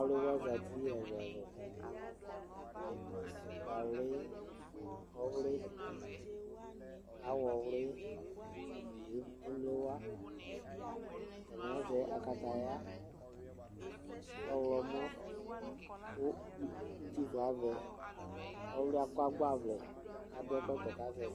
Awlɩ wa zeti ɛlu ɛlu, ukpa wlɩ, ɔwlɩ, awɔ wlɩ ni ɩmle wa atani azɛ akataya ɔwlɔmɔ ku uti fu avɛ Ɔwlɩ akɔ agba ʋlɛ adu ɛkɔtɔ